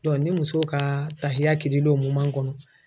ni muso ka tahiya kir'i la o kɔnɔ